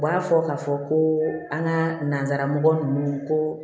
U b'a fɔ k'a fɔ ko an ka nanzara mɔgɔ ninnu ko